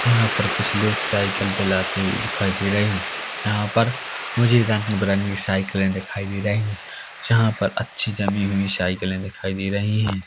यहां पर कुछ लोग सायकल चलाते हुए दिखाई दे रहे है यहां पर मुझे रंग बेरंगी सायकले दिखाई दे रही है जहां पर अच्छी जमी हुई सायकले दिखाई दे रही है।